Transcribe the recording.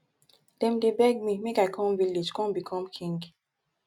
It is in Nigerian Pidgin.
dem dey beg me make i come village come become king